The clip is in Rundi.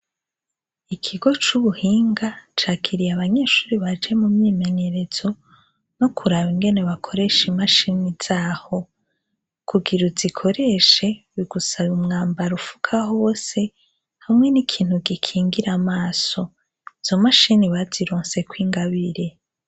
Ikigo c'ubuhinga cakiriye abanyeshure baje mumyimenyerezo, nokuraba ingene bakoresha imashini zaho, kugira uzikoreshe bigusaba umwambaro ufuka hose, hamwe n'ikintu gikingira amaso, izo mashini bazirosek'ingabire.